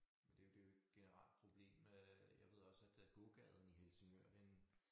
Men det jo det jo et generelt problem øh jeg ved også at at gågaden i Helsingør den